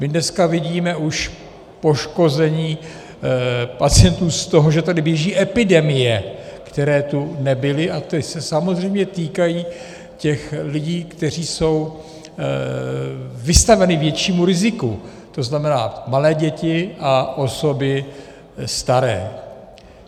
My dneska vidíme už poškození pacientů z toho, že tady běží epidemie, které tu nebyly a které se samozřejmě týkají těch lidí, kteří jsou vystaveni většímu riziku, to znamená malé děti a osoby staré.